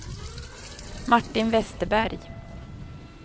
Martin Vesterberg